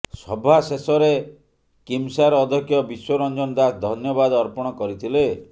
ସଭା ଶେଷରେ କିମସାର୍ ଅଧ୍ୟକ୍ଷ ବିଶ୍ୱରଞ୍ଜନ ଦାଶ ଧନ୍ୟବାଦ ଅର୍ପଣ କରିଥିଲେ